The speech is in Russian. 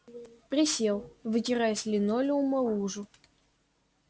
присел вытирая с линолеума лужу